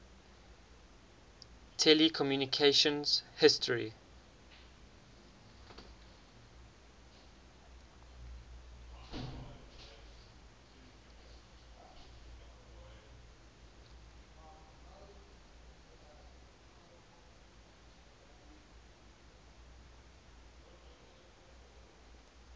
telecommunications history